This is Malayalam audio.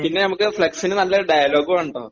പിന്നെ ഞമ്മക്ക് ഫലക്സിന് നല്ല ഡയലോഗ് വേണം ട്ടൊ നല്ല ഡയലോഗ്